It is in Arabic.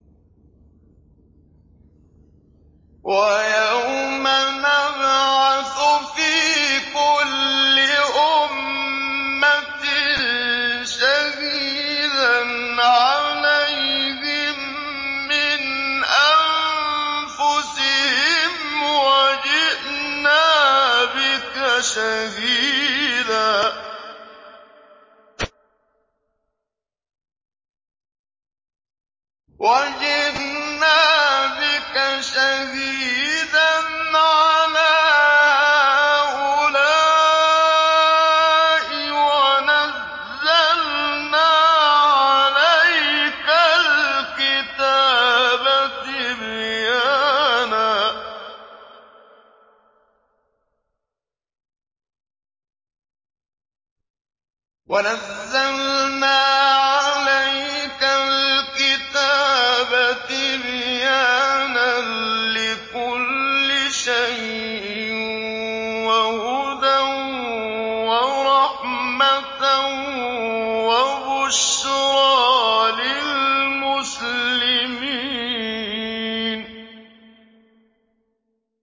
وَيَوْمَ نَبْعَثُ فِي كُلِّ أُمَّةٍ شَهِيدًا عَلَيْهِم مِّنْ أَنفُسِهِمْ ۖ وَجِئْنَا بِكَ شَهِيدًا عَلَىٰ هَٰؤُلَاءِ ۚ وَنَزَّلْنَا عَلَيْكَ الْكِتَابَ تِبْيَانًا لِّكُلِّ شَيْءٍ وَهُدًى وَرَحْمَةً وَبُشْرَىٰ لِلْمُسْلِمِينَ